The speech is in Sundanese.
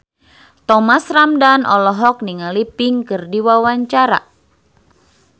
Thomas Ramdhan olohok ningali Pink keur diwawancara